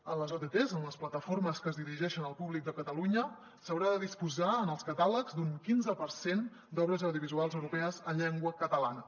en les otts en les plataformes que es dirigeixen al públic de catalunya s’haurà de disposar en els catàlegs d’un quinze per cent d’obres audiovisuals europees en llengua catalana